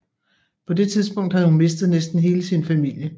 På det tidspunkt havde hun mistet næsten hele sin familie